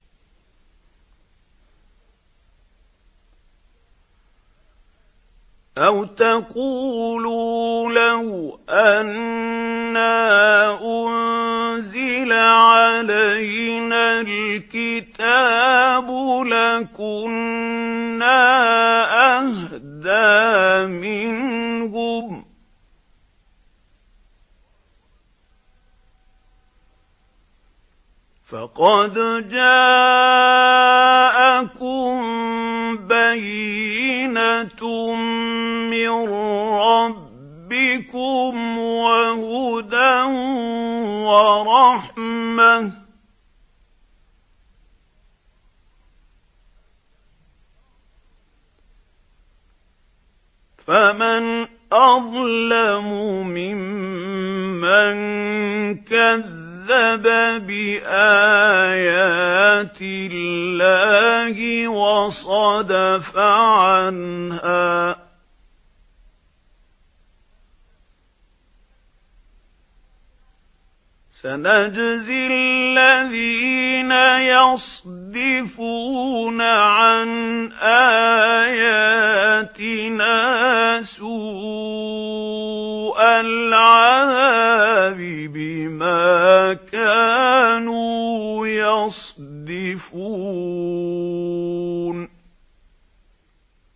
أَوْ تَقُولُوا لَوْ أَنَّا أُنزِلَ عَلَيْنَا الْكِتَابُ لَكُنَّا أَهْدَىٰ مِنْهُمْ ۚ فَقَدْ جَاءَكُم بَيِّنَةٌ مِّن رَّبِّكُمْ وَهُدًى وَرَحْمَةٌ ۚ فَمَنْ أَظْلَمُ مِمَّن كَذَّبَ بِآيَاتِ اللَّهِ وَصَدَفَ عَنْهَا ۗ سَنَجْزِي الَّذِينَ يَصْدِفُونَ عَنْ آيَاتِنَا سُوءَ الْعَذَابِ بِمَا كَانُوا يَصْدِفُونَ